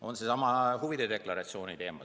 Või seesama huvide deklaratsiooni teema.